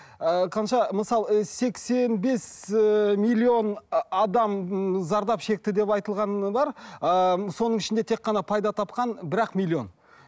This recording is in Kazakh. ыыы қанша мысалы ы сексен бес ііі миллион адам зардап шекті деп айтылғаны бар ыыы соның ішінде тек қана пайда тапқан бір ақ миллион